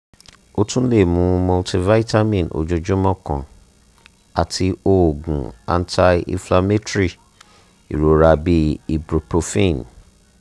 o tun le mu multivitamin ojoojumọ kan ati oogun anti-inflammatory irora bi ibuprofen